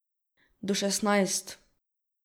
Do šestnajst.